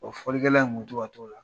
O fɔlikɛla in kun bi tɔ ka t'o la.